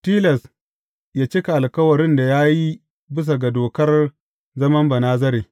Tilas yă cika alkawarin da ya yi bisa ga dokar zaman Banazare.’